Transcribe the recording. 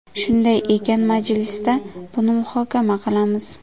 Shunday ekan, majlisda buni muhokama qilamiz.